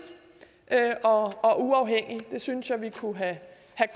og og uafhængig det synes jeg vi kunne have